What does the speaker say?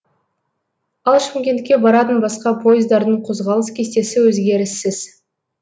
ал шымкентке баратын басқа пойыздардың қозғалыс кестесі өзгеріссіз